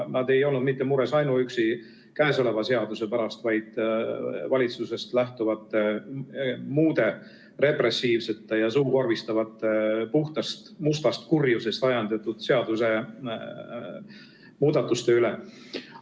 Nad ei olnud mures ainuüksi käesoleva seaduse pärast, vaid valitsusest lähtuvate muude repressiivsete ja suukorvistavate puhtast mustast kurjusest ajendatud seadusemuudatuste pärast.